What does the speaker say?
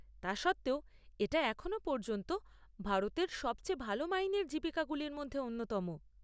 তা সত্ত্বেও, এটা এখনও পর্যন্ত ভারতে সবচেয়ে ভাল মাইনের জীবিকাগুলির মধ্যে অন্যতম।